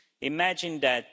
Imagine that!